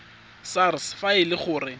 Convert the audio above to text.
sars fa e le gore